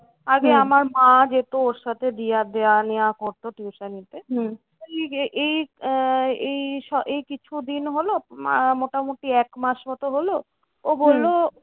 আগে আমার মা যেত ওর সাথে দেওয়া দেওয়া নেওয়া হতো tuition তে। এই আহ এই এই কিছু দিন হলো মোটামুটি এক মাস মতো হলো ও বললো